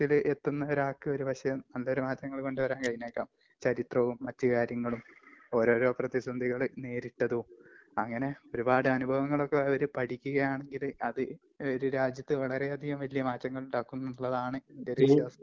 ...എത്തുന്ന ഒരാൾക്ക് ഒരുപക്ഷേ...നല്ലൊരു മാറ്റങ്ങള് കൊണ്ടുവരാൻ കഴിഞ്ഞേക്കാം, ചരിത്രവും മറ്റ് കാര്യങ്ങളും ഓരോരോ പ്രതിസന്ധികള് നേരിട്ടതും...അങ്ങനെ ഒരുപാട് അനുഭവങ്ങളൊക്കെ അവര് പഠിക്കുകയാണെങ്കിൽ അത് ഒരു രാജ്യത്ത് വളരെയധികം വല്യ മാറ്റങ്ങൾ ഉണ്ടാക്കുമെന്നുള്ളതാണ് എന്റെയൊരു വിശ്വാസം.